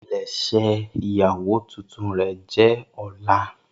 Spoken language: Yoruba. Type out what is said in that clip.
Ipilẹsẹ iyawo tuntun rẹ jẹ ọla.